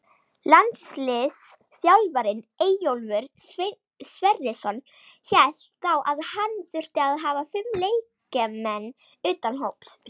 Landsliðsþjálfarinn Eyjólfur Sverrisson hélt þá að hann þyrfti að hafa fimm leikmenn utan hóps.